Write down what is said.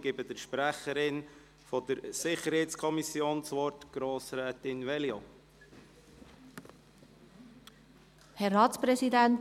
Ich gebe der Sprecherin der SiK, Grossrätin Veglio, das Wort.